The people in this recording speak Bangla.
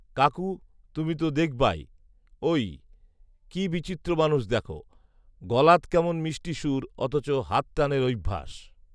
কাকু, তুমি তো দেখবাই ঐ৷ কী বিচিত্র মানুষ দ্যাখো, গলাত কেমন মিষ্টি সুর অথচ হাতটানের অইভ্যাস৷